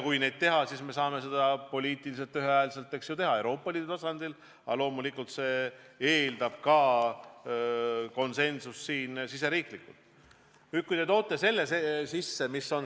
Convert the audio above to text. Kui neid rakendada, siis saame seda poliitiliselt ühehäälselt teha Euroopa Liidu tasandil, aga loomulikult eeldab see konsensust ka riigisiseselt.